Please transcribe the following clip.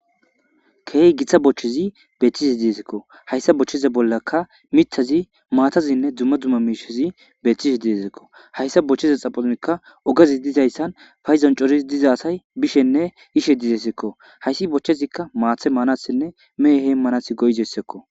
keehi giththa bochchezi beetisi diezikko hayssa bochcheze bollaka mithazi maatazinne dumma dumma miishezi beetishe diesekko hayssa bochcheza xaphonikka ogazi dizayssan fayzon corii dizasay bishenne ishe dizesekko hayssi bochchezikka maathe maanasinne mehehe manasi goyzessekko